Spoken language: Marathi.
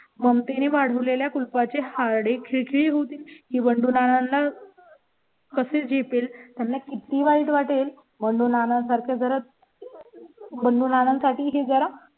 ममते ने वाढ वलेल्या कुलुपाची हाडे खिळखिळे होतील ही बंडू नानांना कशे झेपेल त्यांना किती वाईट वाटेल म्हणून आणि सारख्या जरा बघून आनंद साठीही जरा